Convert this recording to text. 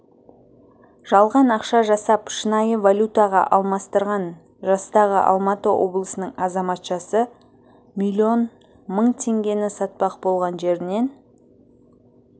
жалған ақша жасап шынайы валютаға алмастырған жастағы алматы облысының азаматшасы миллион мың теңгені сатпақ болған жерінен